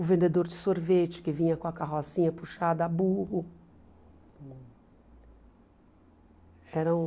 O vendedor de sorvete que vinha com a carrocinha puxada a burro. Eram